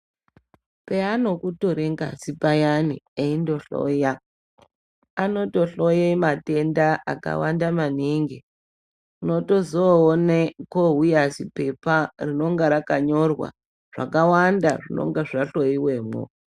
Peanokutore ngazi payani eikuhloya, anotohloye matenda akawanda maningi. Unotozoone kwouye ziphepa rinonga rakanyora zvakawanda zvinenge zvahloyiwemo.